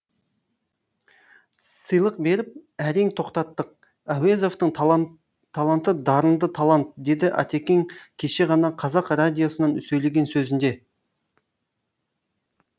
сыйлық беріп әрең тоқтаттық әуезовтың таланты дарынды талант деді атекең кеше ғана қазақ радиосынан сөйлеген сөзінде